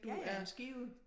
Ja ja end Skive